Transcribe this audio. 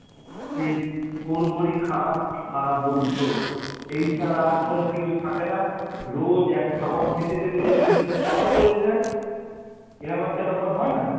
সেই থোড় বড়ি খারা খাড়া বড়ি থোড়, এই ছাড়া আর কোন কিছু থাকে না রোজ এক খাবার খেতে খেতে যেমনি মুখে চড়া পড়ে যায়, এরম একটা ব্যাপার হয় না?